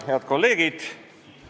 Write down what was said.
Head kolleegid!